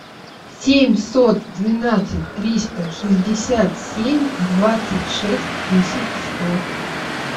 семьсот двенадцать триста шестьдесят семь двадцать шесть десять сто